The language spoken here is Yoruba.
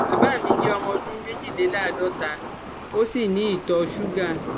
Bàbá mi jẹ́ ọmọ ọdún méjìléláàádọ́ta ó sì ní ìtọ ṣúgà